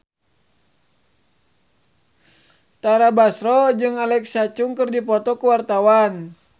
Tara Basro jeung Alexa Chung keur dipoto ku wartawan